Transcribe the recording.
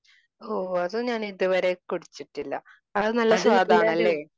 ഓഹ് അത് ഞാൻ ഇതുവരെ കുടിച്ചിട്ടില്ല. അത് നല്ല സ്വാദാണ് അല്ലേ?